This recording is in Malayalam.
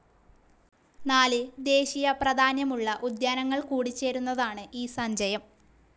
നാല് ദേശീയ പ്രധാന്യമുള്ള ഉദ്യാനങ്ങൾ കൂടിചേരുന്നതാണ് ഈ സഞ്ചയം